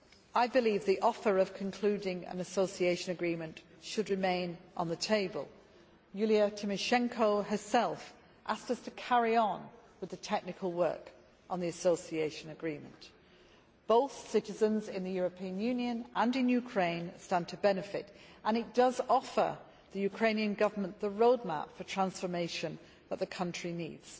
I believe that the offer of concluding an association agreement should remain on the table. Yulia Tymoshenko herself asked us to carry on with the technical work on the association agreement. Both citizens in the European Union and in Ukraine stand to benefit, and it offers the Ukrainian Government the roadmap for transformation that the country needs.